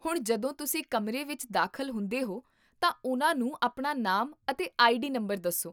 ਹੁਣ, ਜਦੋਂ ਤੁਸੀਂ ਕਮਰੇ ਵਿੱਚ ਦਾਖ਼ਲ ਹੁੰਦੇ ਹੋ ਤਾਂ ਉਨ੍ਹਾਂ ਨੂੰ ਆਪਣਾ ਨਾਮ ਅਤੇ ਆਈਡੀ ਨੰਬਰ ਦੱਸੋ